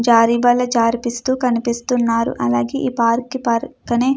జారేబాల జారిపిస్తూ కనిపిస్తున్నారు. అలాగే ఈ పార్క్ కి పక్కనే --